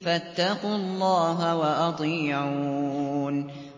فَاتَّقُوا اللَّهَ وَأَطِيعُونِ